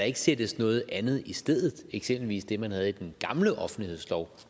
ikke sættes noget andet i stedet eksempelvis det man havde i den gamle offentlighedslov